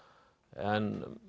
en